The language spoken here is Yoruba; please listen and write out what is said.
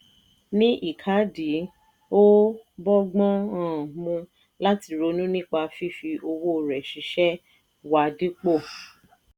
ní ìkádìí ó bọ́gbọ́n um mu láti ronú nípa fífi owó rẹ ṣiṣẹ wá dípò.